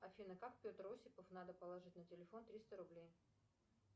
афина как петр осипов надо положить на телефон триста рублей